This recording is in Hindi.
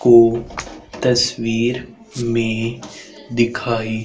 को तस्वीर में दिखाई--